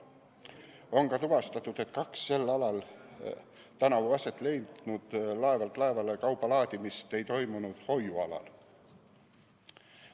On ka tuvastatud, et kaks sel alal tänavu aset leidnud laevalt laevale kauba laadimist ei toimunud hoiualal.